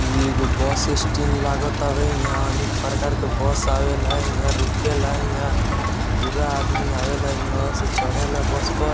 इ एगो bus stand लागातावे इहां अनेक प्रकार के बस अवेला इहां रूकेला इहा पूरा आदमी अवेला इहां से चढ़ेला बस पर।